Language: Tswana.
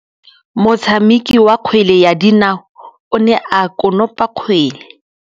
Motshameki wa kgwele ya dinaô o ne a konopa kgwele.